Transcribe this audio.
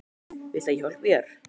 Viltu að ég hjálpi þér?